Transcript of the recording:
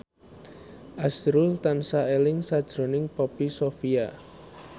azrul tansah eling sakjroning Poppy Sovia